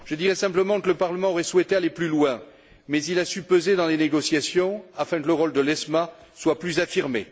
Je dirai simplement que le Parlement aurait souhaité aller plus loin, mais il a su peser dans les négociations afin que le rôle de l'ESMA soit plus affirmé.